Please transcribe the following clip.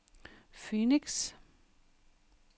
Phoenix